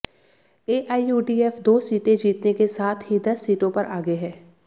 एआईयूडीएफ दो सीटें जीतने के साथ ही दस सीटों पर आगे है